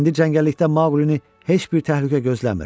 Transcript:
İndi cəngəllikdə Maqulini heç bir təhlükə gözləmir: